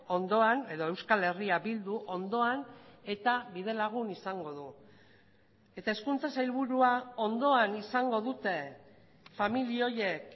ondoan edo euskal herria bildu ondoan eta bidelagun izango du eta hezkuntza sailburua ondoan izango dute familia horiek